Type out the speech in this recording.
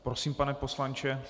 Prosím, pane poslanče.